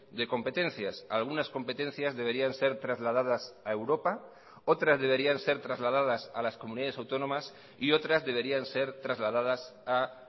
de competencias algunas competencias deberían ser trasladadas a europa otras deberían ser trasladadas a las comunidades autónomas y otras deberían ser trasladadas a